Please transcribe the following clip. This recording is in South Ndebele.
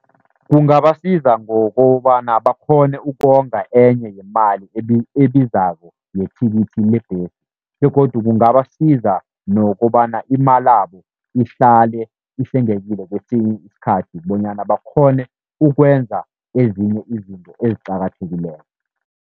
Kungabasiza ngokobana bakghone ukonga enye yemali ebizako yethikithi lebhesi. Begodu kungabasiza nokobana imalabo ihlale ihlengekile kwesinye isikhathi, bonyana bakghone ukwenza ezinye izinto eziqakathekileko.